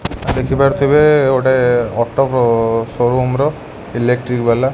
ଦେଖିପାରୁଥୁବେ ଗୋଟେ ଅଟୋ ଅ showroom ର ଇଲେକ୍ଟ୍ରିକ୍ ୱାଲା।